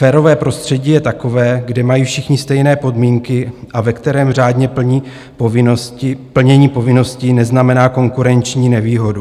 Férové prostředí je takové, kde mají všichni stejné podmínky a ve kterém řádné plnění povinností neznamená konkurenční nevýhodu.